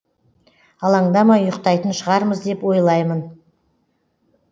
алаңдамай ұйықтайтын шығармыз деп ойлаймын